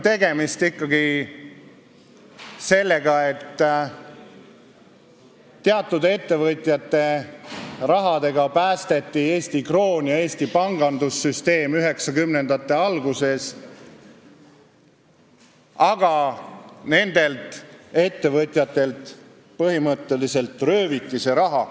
Tegemist on ikkagi sellega, et teatud ettevõtjate rahaga päästeti 1990-ndate alguses Eesti kroon ja Eesti pangandussüsteem, aga nendelt ettevõtjatelt põhimõtteliselt rööviti see raha.